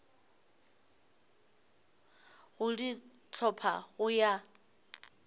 go di hlopha go ya